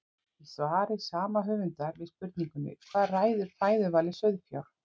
Í svari sama höfundar við spurningunni Hvað ræður fæðuvali sauðfjár?